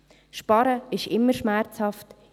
Sparen ist immer schmerzhaft;